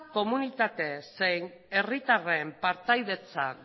komunitate zein herritarren partaidetza